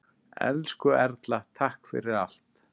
Elsku Erla, takk fyrir allt.